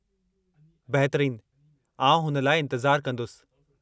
बहितरीन, आउं हुन लाइ इंतिज़ारु कंदुसि।